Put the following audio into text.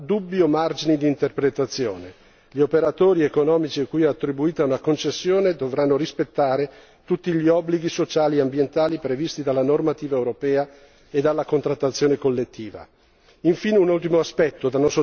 Non ci sono da questo punto di vista dubbi o margini d'interpretazione gli operatori economici cui è attribuita una concessione dovranno rispettare tutti gli obblighi sociali e ambientali previsti dalla normativa europea e dalla contrattazione collettiva.